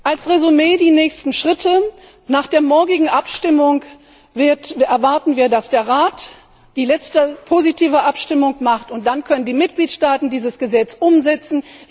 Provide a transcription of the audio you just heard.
Als Resümé die nächsten Schritte Nach der morgigen Abstimmung erwarten wir, dass der Rat die letzte positive Abstimmung vornimmt, und dann können die Mitgliedstaaten dieses Gesetz umsetzen.